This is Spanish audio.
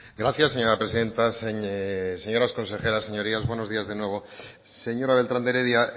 gracias señora presidenta señoras consejeras señorías buenos días de nuevo señora beltrán de heredia